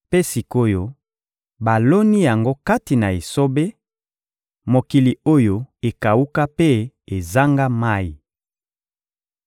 Mpe sik’oyo baloni yango kati na esobe, mokili oyo ekawuka mpe ezanga mayi.